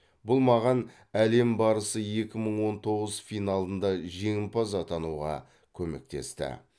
бұл маған әлем барысы екі мың он тоғыз финалында жеңімпаз атануға көмектесті